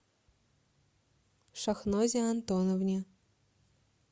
шахнозе антоновне